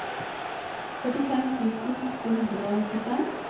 førtifem tusen åtte hundre og nittifem